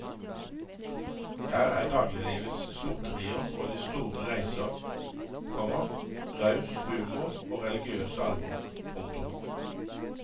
Her er dagliglivets småtterier og de store reiser, komma raus humor og religiøst alvor. punktum